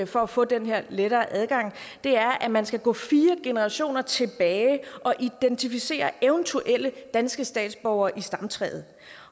for at få den her lettere adgang er at man skal gå fire generationer tilbage og identificere eventuelle danske statsborgere i stamtræet